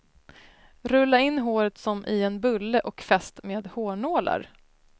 Rulla in håret som i en bulle och fäst med hårnålar.